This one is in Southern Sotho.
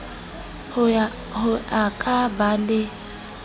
ho a ka ba le